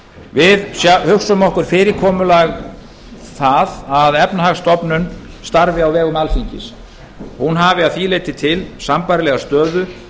við hugsum okkur það fyrirkomulag að efnahagsstofnun starfi á vegum alþingis og hafi að því leyti sambærilega stöðu